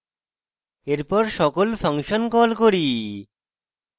এরপর সকল function call করি